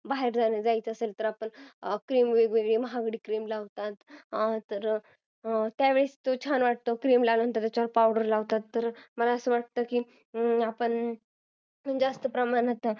बाहेर जायचं असेल तर आपण वेगवेगळे महागडी cream लावतो त्यावेळेस ते छान वाटतं cream लावल्याने त्याच्यावर powder लावतात मला असं वाटतं की आपण जास्त प्रमाणात